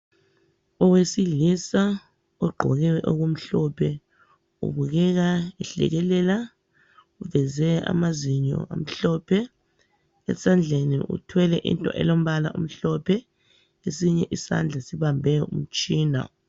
Owesilisa uqgoke okumhlophe, ubukeka ehlekelela uveze amazinyo amhlophe. Esandleni uthwele into elompala omhlophe esinye isandla sibambe umtshina